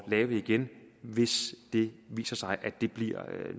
lave igen hvis det viser sig at det bliver